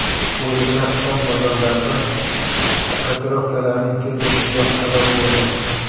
Bu esa fond bozorlarida kotirovkalarning tez o‘sishiga sabab bo‘ldi .